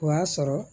O y'a sɔrɔ